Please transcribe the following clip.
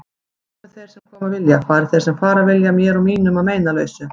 Komi þeir sem koma vilja, fari þeir sem fara vilja, mér og mínum að meinalausu.